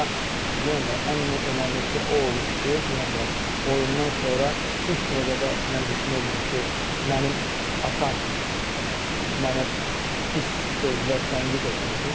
Amma yenə də ən önəmlisi o olub ki, yenə deyirəm, oyundan sonra ilk növbədə mən düşünürdüm ki, mənim atam mənə pis sözlə tənqid etməsin.